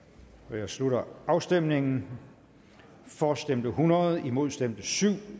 jeg slutter afstemningen for stemte hundrede imod stemte syv